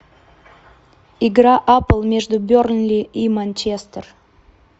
игра апл между бернли и манчестер